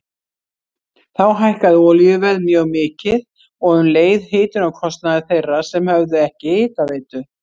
Þá hækkaði olíuverð mjög mikið og um leið hitunarkostnaður þeirra sem höfðu ekki hitaveitu.